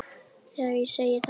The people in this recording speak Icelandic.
Þegar ég segi þetta við